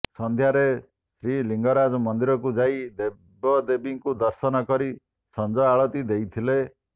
ସନ୍ଧ୍ୟାରେ ଶ୍ରୀଲିଙ୍ଗରାଜ ମନ୍ଦିରକୁ ଯାଇ ଦେବଦେବୀଙ୍କୁ ଦର୍ଶନ କରି ସଞ୍ଜ ଆଳତି ଦେଇଥିଲେ